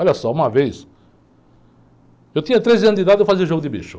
Olha só, uma vez, eu tinha treze anos de idade e eu fazia jogo de bicho.